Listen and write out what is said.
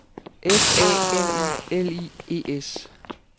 F A M I L I E S